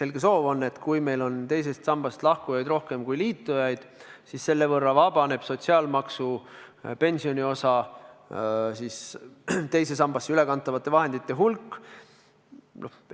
selge soov on see, et kui meil on teisest sambast lahkujaid rohkem kui sellega liitujaid, siis selle võrra vabaneb sotsiaalmaksu pensioniosa teise sambasse ülekantavate vahendite hulk.